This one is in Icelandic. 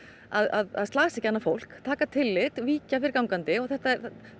að slasa ekki annað fólk taka tillit víkja fyrir gangandi og þetta